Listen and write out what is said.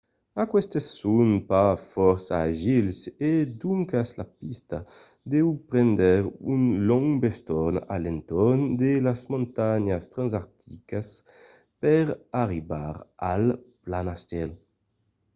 aquestes son pas fòrça agils e doncas la pista deu prendre un long bestorn a l'entorn de las montanhas transantarticas per arribar al planastèl